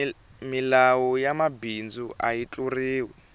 milawu ya mabindzu ayi tluriwi